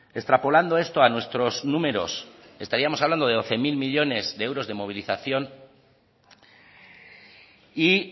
extrapolando esto a nuestros números estaríamos hablando de doce mil millónes de euros de movilización y